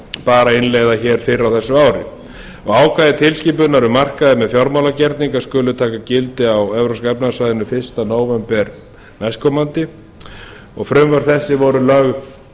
bar að innleiða hér fyrr á þessu ári ákvæði tilskipunar um markaði með fjármálagerninga skuli taka gildi á evrópska efnahagssvæðinu fyrsta nóvember næstkomandi og frumvörp þessi voru lögð